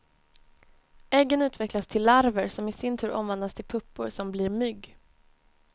Äggen utvecklas till larver som i sin tur omvandlas till puppor som blir mygg.